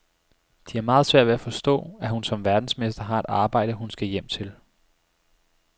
De har meget svært ved at forstå, at hun som verdensmester har et arbejde, hun skal hjem til.